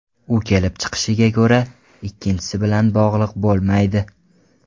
U kelib chiqishiga ko‘ra ikkinchisi bilan bog‘liq bo‘lmaydi.